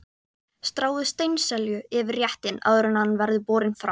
Stráið steinselju yfir réttinn áður en hann er borinn fram.